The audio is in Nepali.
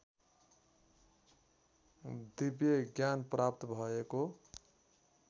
दिव्यज्ञान प्राप्त भएको